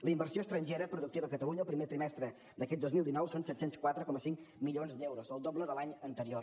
la inversió estrangera productiva a catalunya el primer trimestre d’aquest dos mil dinou són set cents i quatre coma cinc milions d’euros el doble de l’any anterior